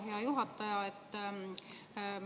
Hea juhataja!